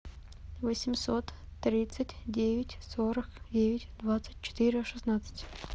восемьсот тридцать девять сорок девять двадцать четыре шестнадцать